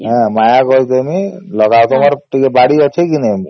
ହୀଲା ମାୟା କରିକି ଦେବୀ ଲଗା ତମର ଟିକେ ବାଡ଼ି ଅଛେ କେ ନାଇଁ ?